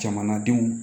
Jamanadenw